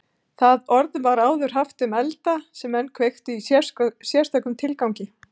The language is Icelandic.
Það orð var áður haft um elda sem menn kveiktu í sérstökum tilgangi.